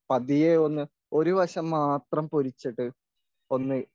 പതിയെ ഒന്ന് ഒരു വശം മാത്രം പൊരിച്ചിട്ട് ഒന്ന്